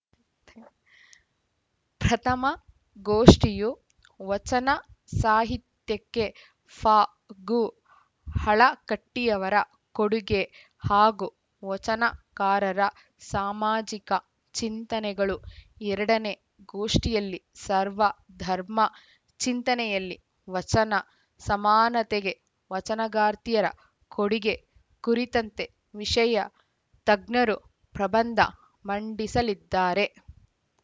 ಪ್ರಥಮ ಗೋಷ್ಠಿಯು ವಚನ ಸಾಹಿತ್ಯಕ್ಕೆ ಫಗುಹಳಕಟ್ಟಿಯವರ ಕೊಡುಗೆ ಹಾಗೂ ವಚನಕಾರರ ಸಾಮಾಜಿಕ ಚಿಂತನೆಗಳು ಎರಡನೇ ಗೋಷ್ಠಿಯಲ್ಲಿ ಸರ್ವ ಧರ್ಮ ಚಿಂತನೆಯಲ್ಲಿ ವಚನ ಸಮಾನತೆಗೆ ವಚನಗಾರ್ತಿಯರ ಕೊಡುಗೆ ಕುರಿತಂತೆ ವಿಷಯ ತಜ್ಞರು ಪ್ರಬಂಧ ಮಂಡಿಸಲಿದ್ದಾರೆ